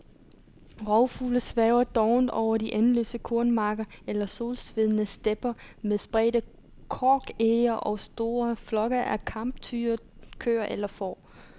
Rovfugle svæver dovent over de endeløse kornmarker eller solsvedne stepper med spredte korkege og store flokke af kamptyre, køer eller får.